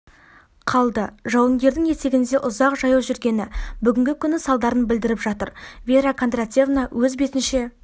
қалды жауынгердің етігінде ұзақ жаяу жүргені бүгінгі күні салдарын білдіріп жатыр вера кондратьевна өз бетінше